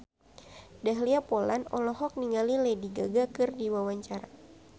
Dahlia Poland olohok ningali Lady Gaga keur diwawancara